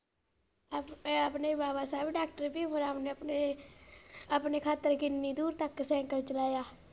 ਇਹ ਆਪਣੇ ਬਾਬਾ ਸਾਹਿਬ ਡਾਕਟਰ ਭੀਮ ਰਾਓ ਨੇ ਆਪਣੇ ਆਪਣੇ ਖਾਤਿਰ ਕਿੰਨੀ ਦੂਰ ਤਕ ਸੀਕਲੇ ਚਲਾਇਆ।